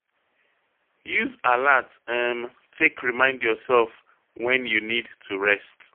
Use alart um take remind yourself when you need to rest